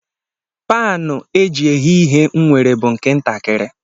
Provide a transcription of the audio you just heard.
Paanụ e ji eghe ihe m nwere bụ nke ntakịrị